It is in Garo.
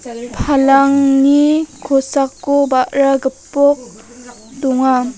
palangni kosako ba·ra gipok donga.